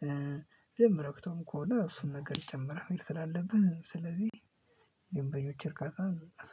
በደምብ ረክተው ከሆነ እሱን ነገር መጨምር ስላለብህ ስለዚህ የደንበኞች እርካታ